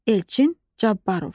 Elçin Cabbarov.